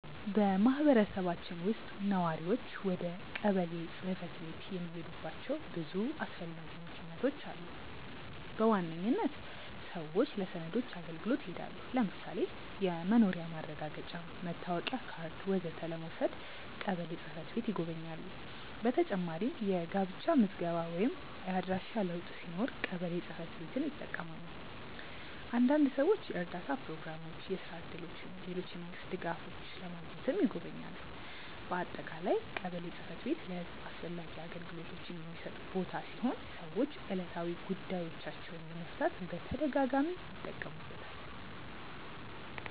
በማህበረሰባችን ውስጥ ነዋሪዎች ወደ ቀበሌ ጽ/ቤት የሚሄዱባቸው ብዙ አስፈላጊ ምክንያቶች አሉ። በዋነኝነት ሰዎች ለሰነዶች አገልግሎት ይሄዳሉ። ለምሳሌ የመኖሪያ ማረጋገጫ፣ መታወቂያ ካርድ ወዘተ ለመውሰድ ቀበሌ ጽ/ቤት ይጎበኛሉ። በተጨማሪም የጋብቻ ምዝገባ ወይም የአድራሻ ለውጥ ሲኖር ቀበሌ ጽ/ቤትን ይጠቀማሉ። አንዳንድ ሰዎች የእርዳታ ፕሮግራሞች፣ የስራ እድሎች ወይም ሌሎች የመንግስት ድጋፎች ለማግኘትም ይጎበኛሉ። በአጠቃላይ ቀበሌ ጽ/ቤት ለህዝብ አስፈላጊ አገልግሎቶችን የሚሰጥ ቦታ ሲሆን ሰዎች ዕለታዊ ጉዳዮቻቸውን ለመፍታት በተደጋጋሚ ይጠቀሙበታል።